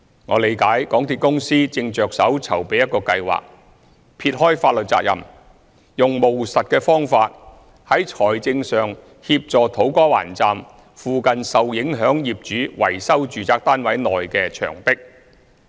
我理解港鐵公司正着手籌備一個計劃，撇開法律責任，用務實的方法在財政上協助土瓜灣站附近的受影響業主維修住宅單位內的牆壁。